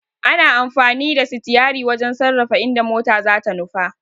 Ana amfani da sitiyari wajen sarrafa inda mota zata nufa.